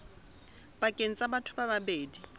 pakeng tsa batho ba babedi